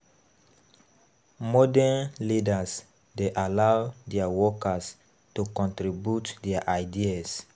Modern leaders dey allow their workers to contribute their ideas